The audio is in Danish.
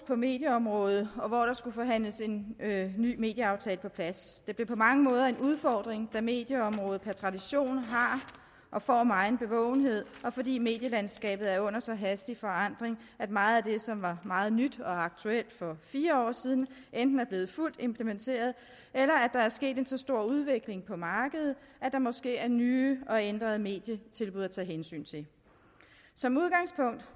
på medieområdet og hvor der skulle forhandles en ny medieaftale på plads det blev på mange måder en udfordring da medieområdet per tradition har og får megen bevågenhed og fordi medielandskabet er under så hastig forandring at meget af det som var meget nyt og aktuelt for fire år siden enten er blevet fuldt implementeret eller at der er sket en så stor udvikling på markedet at der måske er nye og ændrede medietilbud at tage hensyn til som udgangspunkt